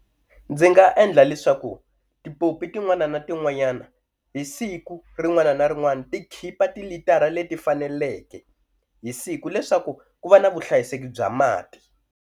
Ndzi nga endla leswaku tipopi tin'wana na tin'wanyana hi siku rin'wana na rin'wana ti khipa tilitara leti faneleke hi siku leswaku ku va na vuhlayiseki bya mati.